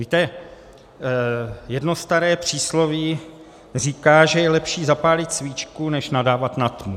Víte, jedno staré přísloví říká, že je lepší zapálit svíčku než nadávat na tmu.